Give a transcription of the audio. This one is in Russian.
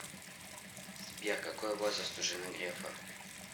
сбер какой возраст у жены грефа